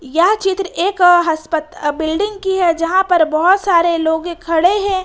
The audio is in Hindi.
यह चित्र एक हसप बिल्डिंग की है जहां पर बहोत सारे लोगे के खड़े हैं।